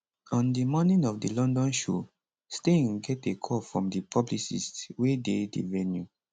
on di morning of di london show stein get a call from di publicist wey dey di venue